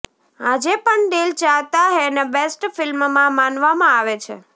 આજે પણ દિલ ચાહતા હૈને બેસ્ટ ફિલ્મમાં માનવામાં આવે છે